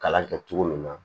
Kalan kɛ cogo min na